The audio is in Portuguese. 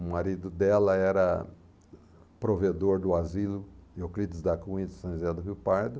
O marido dela era provedor do asilo Euclides da Cunha de São José do Rio Pardo.